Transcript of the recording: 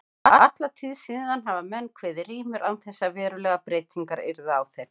Alla tíð síðan hafa menn kveðið rímur án þess að verulegar breytingar yrðu á þeim.